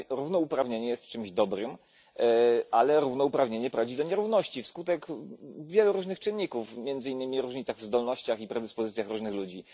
Równouprawnienie jest czymś dobrym, ale równouprawnienie prowadzi do nierówności wskutek wielu różnych czynników, między innymi w różnicach i zdolnościach i predyspozycjach różnych ludzi.